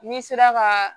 N'i sera ka